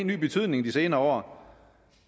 ny betydning de senere